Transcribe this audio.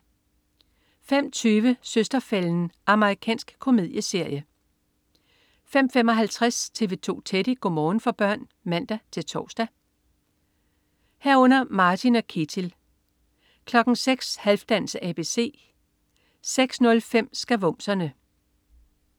05.20 Søster-fælden. Amerikansk komedieserie 05.55 TV 2 Teddy. Go' morgen for børn (man-tors) 05.55 Martin & Ketil 06.00 Halfdans ABC 06.05 Skavumserne